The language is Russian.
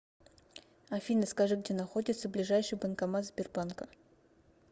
афина скажи где находится ближайший банкомат сбербанка